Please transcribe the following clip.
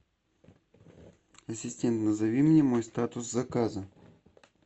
ассистент назови мне мой статус заказа